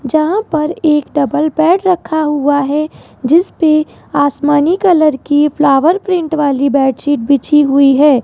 जहां पर एक डबल बेड रखा हुआ है जिस पे आसमानी कलर की फ्लावर प्रिंट वाली बेडशीट बिछी हुई है।